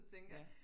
Ja